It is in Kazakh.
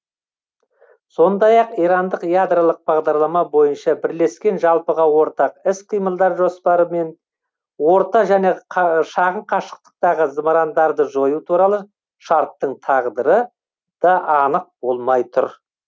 сондай ақ ирандық ядролық бағдарлама бойынша бірлескен жалпыға ортақ іс қимылдар жоспары мен орта және шағын қашықтықтағы зымырандарды жою туралы шарттың тағдыры да анық болмай тұр